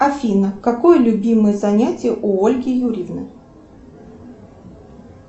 афина какое любимое занятие у ольги юрьевны